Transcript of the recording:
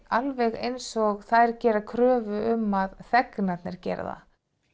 alveg eins og þær gera kröfu um að þegnarnir geri það